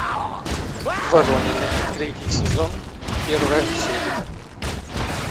воронины третий сезон первая серия